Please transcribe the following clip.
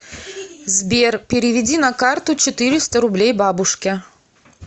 сбер переведи на карту четыреста рублей бабушке